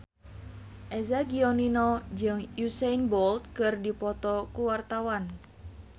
Eza Gionino jeung Usain Bolt keur dipoto ku wartawan